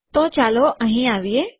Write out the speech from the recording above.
તો ચાલો અહીં આવીએ